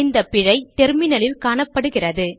இந்த பிழை டெர்மினலில் காணப்படுகிறது